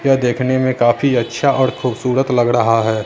यह देखने में काफी अच्छा और खूबसूरत लग रहा है।